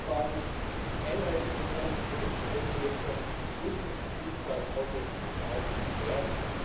Waffenembargos, Einreiseverbote für Menschenrechtsverletzer müssen jedenfalls aufrechterhalten werden.